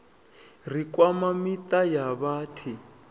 ri kwama miṱa ya vhathi